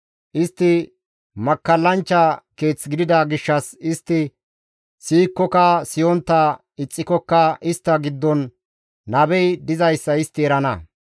Istti makkallanchcha keeth gidida gishshas istti siyikkoka siyontta ixxikokka istta giddon nabey dizayssa istti erana.